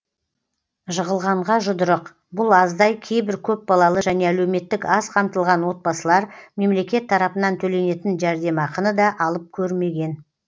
жығылғанға жұдырық бұл аздай кейбір көпбалалы және әлеуметтік аз қамтылған отбасылар мемлекет тарапынан төленетін жәрдемақыны да алып көрмеген